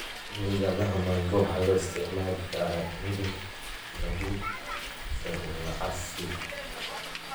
Midhaha mango waxaa loo isticmaali karaa in lagu sameeyo casiir.